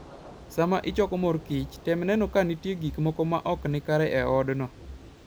Sama ichoko mor kich, tem neno ka nitie gik moko maok nikare e odno